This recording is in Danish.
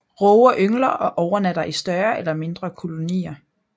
Råger yngler og overnatter i større eller mindre kolonier